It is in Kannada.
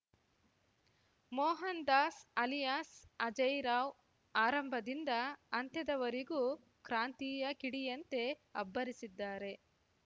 ಮೋಹನ್‌ ದಾಸ್‌ ಅಲಿಯಾಸ್‌ ಅಜಯ್‌ ರಾವ್‌ ಆರಂಭದಿಂದ ಅಂತ್ಯದವರೆಗೂ ಕ್ರಾಂತಿಯ ಕಿಡಿಯಂತೆ ಅಬ್ಬರಿಸಿದ್ದಾರೆ